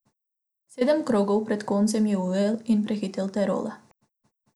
Sedem krogov pred koncem je ujel in prehitel Terola.